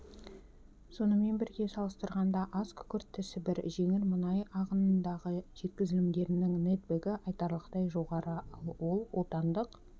сонымен бірге салыстырғанда азкүкіртті сібір жеңіл мұнай ағынындағы жеткізілімдерінің нэтбэгі айтарлықтай жоғары ал ол отандық